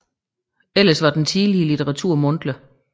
Ellers var den tidlige litteratur mundtlig